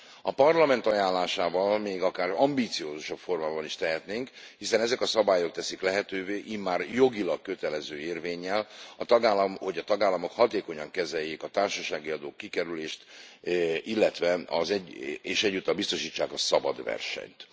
A Parlament ajánlásával még akár ambiciózusabb formába is tehetnénk, hiszen ezek a szabályok teszik lehetővé immár jogilag kötelező érvénnyel, hogy a tagállamok hatékonyan kezeljék a társasági adó kikerülését, és egyúttal biztosítsák a szabad versenyt.